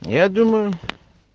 я думаю